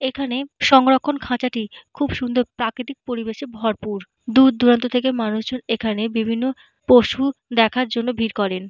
এখানে সংরক্ষণ খাঁচাটি খুব সুন্দর প্রাকৃতিক পরিবেশে ভরপুর। দূর দূরান্ত থেকে মানুষজন এখানে বিভিন্ন পশু দেখার জন্য ভিড় করেন।